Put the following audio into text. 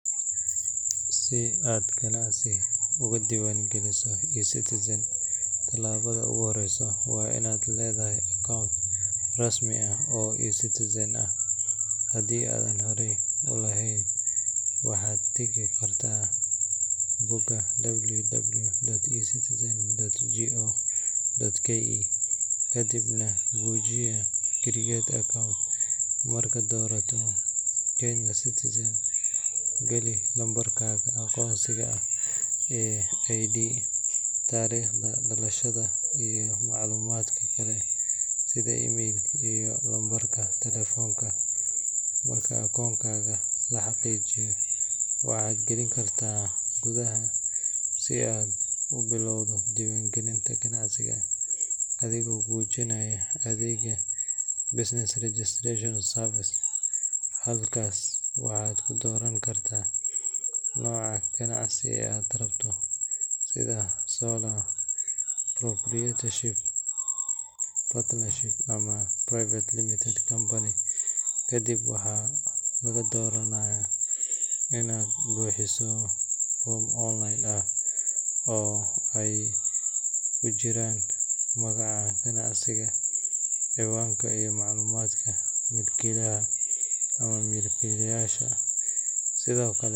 Si aad ganacsi uga diiwaangeliso eCitizen, talaabada ugu horeysa waa inaad leedahay akoon rasmi ah oo eCitizen ah. Haddii aadan horey u lahayn, waxaad tagi kartaa bogga www.ecitizen.go.ke kadibna gujinaya Create Account. Markaad doorato Kenyan Citizen, geli lambarkaaga aqoonsiga ee ID, taariikhda dhalashada iyo macluumaadka kale sida email iyo lambarka taleefanka. Marka akoonkaaga la xaqiijiyo, waxaad geli kartaa gudaha si aad u bilowdo diiwaangelinta ganacsiga adigoo gujinaya adeegga Business Registration Service. Halkaas waxaad ku dooran kartaa nooca ganacsi ee aad rabto sida Sole Proprietorship, Partnership, ama Private Limited Company. Kadib, waxaa lagaa doonayaa inaad buuxiso foom online ah oo ay ku jiraan magaca ganacsiga, ciwaanka, iyo macluumaadka milkiilaha ama milkiilayaasha. Sidoo kale.